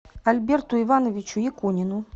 альберту ивановичу якунину